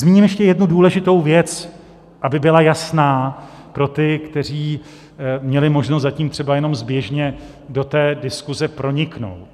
Zmíním ještě jednu důležitou věc, aby byla jasná pro ty, kteří měli možnost zatím třeba jenom zběžně do té diskuze proniknout.